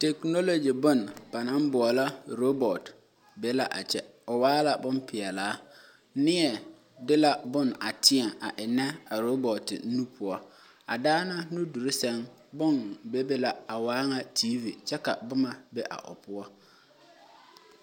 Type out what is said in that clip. Naasaal bomaala ba naŋ boɔlɔ robot be la a kyɛ o waa la bon pɛlaa neɛ de la bon a teɛ a ennɛ a robot nu poɔ a daana nudur seŋ bon bebe la a waa ŋa tv kyɛ ka boma be a o poɔ